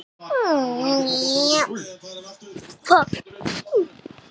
Maðurinn sem þuklaði lærin kom nær og nær og lagðist að lokum oná hana.